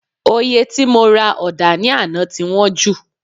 Òye tí mo ra ọ̀dà ní àná ti wọ́n jù